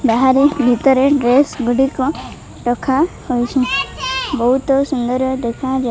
ବାହାରେ ଭିତରେ ଡ୍ରେସ ଗୁଡ଼ିକ ରଖାହୋଇଛି ବହୁତ ସୁନ୍ଦର ଦେଖାଯାଉ --